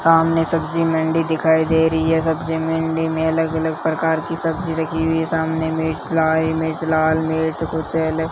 सामने सब्जी मंडी दिखाई दे रही है सब्जी मंडी मे अलग अलग प्रकार की सब्जी रखी हुई है सामने मिर्च लाल मिर्च लाल मिर्च कुछ ये --